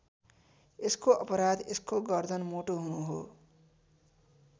यसको अपराध यसको गर्दन मोटो हुनु हो।